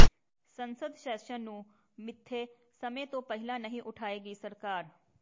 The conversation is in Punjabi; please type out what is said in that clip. ਸੰਸਦ ਸੈਸ਼ਨ ਨੂੰ ਮਿੱਥੇ ਸਮੇਂ ਤੋਂ ਪਹਿਲਾਂ ਨਹੀਂ ਉਠਾਏਗੀ ਸਰਕਾਰ